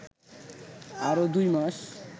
আরো দুই মাস